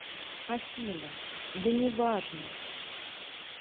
афина да неважно